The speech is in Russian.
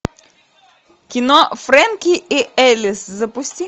кино фрэнки и элис запусти